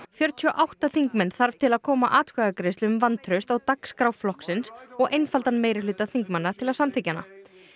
fjörutíu og átta þingmenn þarf til að koma atkvæðagreiðslu um vantraust á dagskrá flokksins og einfaldan meirihluta þingmanna til að samþykkja hana